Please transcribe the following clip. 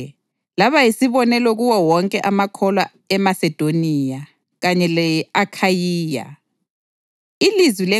Ngakho-ke, laba yisibonelo kuwo wonke amakholwa eMasedoniya kanye le-Akhayiya.